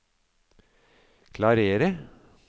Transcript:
klarere